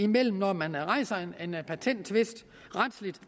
mellem når man rejser en patenttvist retsligt